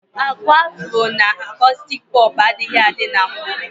Aku afuro na akostik popu adịghị adị na mbu.